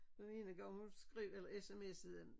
Den ene gang hun skrev eller smsede ind